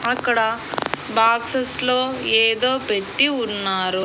అక్కడ బాక్సెస్ లో ఏదో పెట్టి ఉన్నారు.